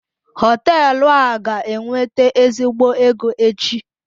Họteelụ a ga-ewete ezigbo ego echi.